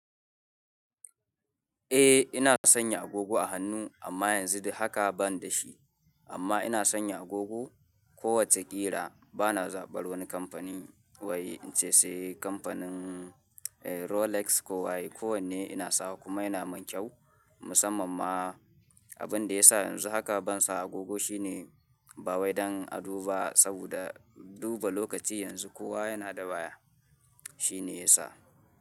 Eh ina sanya agogo a hannu, amma yanzu haka ban da shi. Amma ina sanya agogo kowace ƙira. Bana zaɓar wani kamfani wai in ce sai kamfanin Rolex ko waye, ko wanne ina sawa kuma yana min kyau. Musamman ma abin da ya sa yanzu haka ban sa agogo shine, ba waidan a duba saboda duba lokaci yanzu kowa yana da waya. Shi ne ya sa.